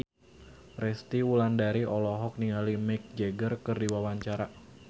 Resty Wulandari olohok ningali Mick Jagger keur diwawancara